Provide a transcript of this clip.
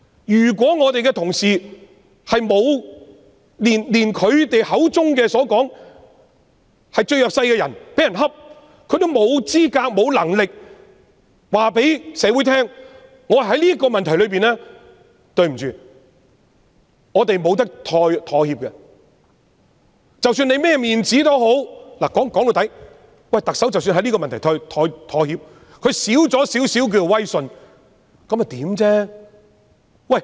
如果同事在他們口中所謂最弱勢的人被欺負時，也認為自己沒有資格、沒有能力告訴社會，"在這個問題上，對不起，我們不能夠妥協，無論是甚麼面子也好"......說到底，即使特首在這個問題上妥協，她少了一點點威信，那又如何？